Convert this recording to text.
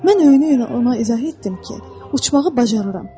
Mən öyünə-öyünə ona izah etdim ki, uçmağı bacarıram.